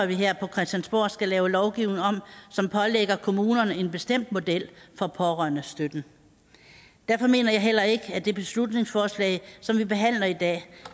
vi her på christiansborg skal lave en lovgivning som pålægger kommunerne en bestemt model for pårørendestøtten derfor mener jeg heller ikke at det beslutningsforslag som vi behandler i dag